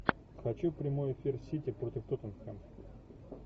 хочу прямой эфир сити против тоттенхэм